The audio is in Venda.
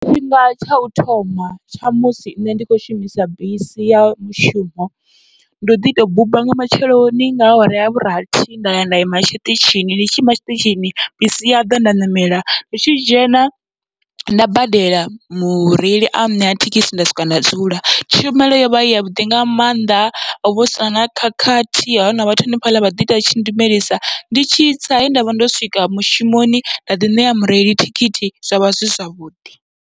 Tshifhinga tsha u thoma tsha musi nṋe ndi kho shumisa bisi ya mushumo, ndo ḓi tou buba nga matsheloni nga awara ya vhurathi nda ya nda ima tshiṱitshini, ndi tshi ima tshiṱitshini bisi ya ḓa nda ṋamela, ndi tshi dzhena nda badela mureili a ṋea thekhisi nda swika nda dzula. Tshumelo yovha yavhuḓi nga mannḓa, hovha husina na khakhathi ha huna vhathu hanefhaḽa vha ḓi ita vhatshi lumelisa ndi tshitsa he ndavha ndo swika mushumoni nda ḓi ṋea mureili thikhithi zwavha zwi zwavhuḓi.